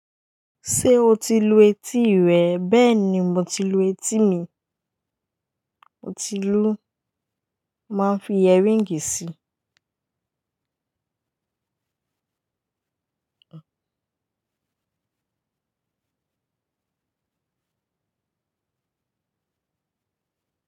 Ṣé o ti lu etí rẹ̀? Bẹ́ẹ̀ ni, mo ti lu etí mi. Mo ti lu. Máà n fi earring si.